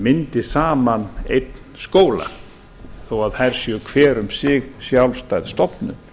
myndi saman einn skóla þó þær séu hver um sig sjálfstæð stofnun